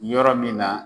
Yɔrɔ min na